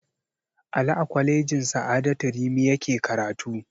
Ali a kwalejin sa'adatu rimi yake karatu